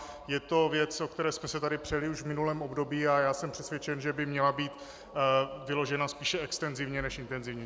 Je to věc, o které jsme se tady přeli už v minulém období, a já jsem přesvědčen, že by měla být vyložena spíše extenzivně než intenzivně.